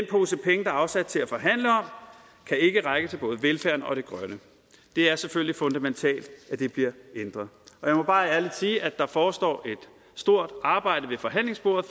er afsat til at forhandle om kan ikke række til både velfærden og det grønne det er selvfølgelig fundamentalt at det bliver ændret og jeg må bare ærligt sige at der forestår et stort arbejde ved forhandlingsbordet